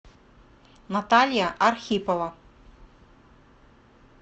наталья архипова